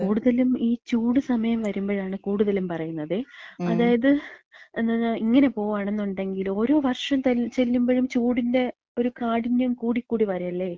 കൂടുതലും ഈ ചൂട് സമയം വരുമ്പഴാണ് കൂടുതലും പറയുന്നതേ. അതായത് ഇങ്ങനെ പോവാണെന്നുണ്ടെങ്കില്, ഓരോ വർഷം ചെല്ലുമ്പോഴും ചൂടിന്‍റെ ഒരു കാഠിന്യം കൂടി കൂടി വരല്ലേ.